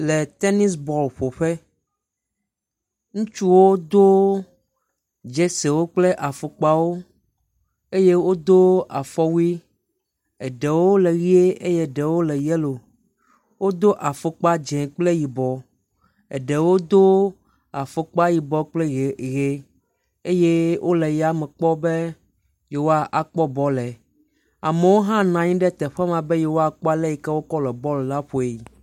Le tenisi bɔl ƒo ƒe. Ŋutsuwo do dzɛsewo kple afɔkpawo eye wo do afɔwuie. Eɖewo le ʋie eye eɖewo le yɛlo. Wodo afɔkpa dz0 kple yibɔ. Eɖewo do afɔkpa yibɔ kple ʋi eye wole yame kpɔm be yewoa kpɔ bɔl le. Amewo hã nɔ anyi ɖe teƒe maa be yewoa kpɔ ale yike wokɔ le bɔl la ƒoe.